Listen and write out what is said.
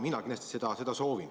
Mina väga soovin seda.